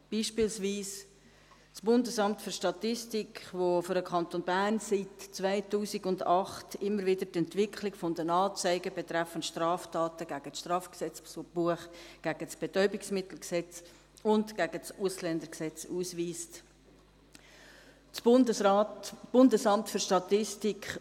Beispielsweise das BFS, das für den Kanton Bern seit 2008 immer wieder die Entwicklung der Anzeigen betreffend Straftaten gegen das StGB, gegen das Bundesgesetz über die Betäubungsmittel und die psychotropen Stoffe (Betäubungsmittelgesetz, BetmG) und gegen das Bundesgesetz über die Ausländerinnen und Ausländer und über die Integration (Ausländer- und Integrationsgesetz, AIG) ausweist;